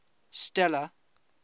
stella